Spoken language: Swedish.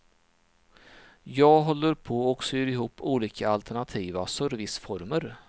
Jag håller på och syr ihop olika alternativa serviceformer.